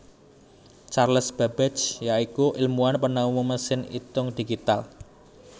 Charles Babbage ya iku ilmuwan penemu mesin itung digital